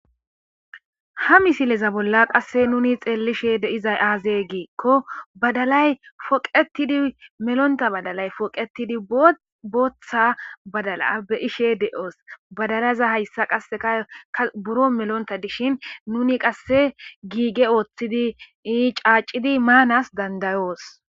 ha misileza bolla qasse nuni xeellishe de'iza aazee giikko badalay foqetidi melonta badalay poqetidi booththa badala be ishe de'oos badalaza hayssa qasseka ka buro melonta dishin nuni qasse giige ooththidi ii caacidi maanas dandayoos